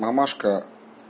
мамашка